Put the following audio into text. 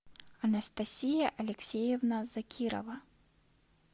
анастасия алексеевна закирова